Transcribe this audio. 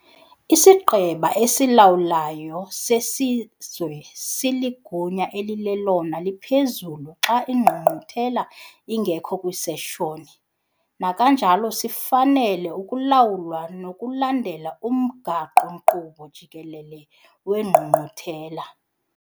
IsiGqeba esilawulayo seSizwe siligunya elilelona liphezulu xa iNgqungquthela ingekho kwiseshoni, kananjalo sifanele ukulawulwa nokulandela umgaqo-nkqubo jikelele weNgqungquthela.